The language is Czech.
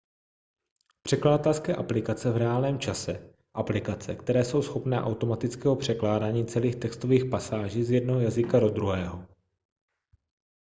překladatelské aplikace v reálném čase aplikace které jsou schopné automatického překládání celých textových pasáží z jednoho jazyka do druhého